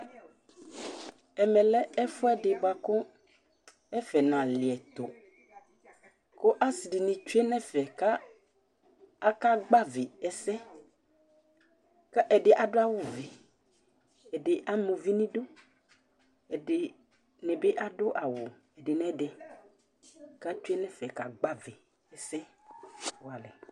Ɛmɛ lɛ ɛfʋɛdɩ bʋa kʋ ɛfɛ nalɩɛtʋ kʋ asɩ dɩnɩ tsue nʋ ɛfɛ kʋ akagbavɩ ɛsɛ kʋ ɛdɩ adʋ awʋvɛ, ɛdɩ ama uvi nʋ idu Ɛdɩnɩ bɩ adʋ awʋ ɛdɩ nʋ ɛdɩ kʋ atsue nʋ ɛfɛ kagbavɩ ɛsɛ walɛ